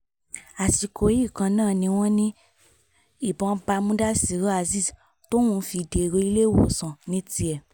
àsìkò yìí kan náà ni wọ́n ní ìbọn bá mudasiru azeez tóun fi dèrò iléèwòsàn ní tiẹ̀